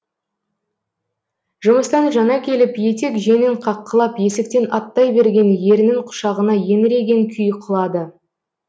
жұмыстан жаңа келіп етек жеңін қаққылап есіктен аттай берген ерінің құшағына еңіреген күйі құлады